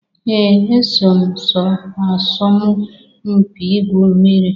Ee! Eso m sọọ asọmụ mpị ịgwụ mmiri.